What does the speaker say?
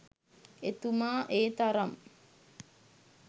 එතුමා ඒ තරම්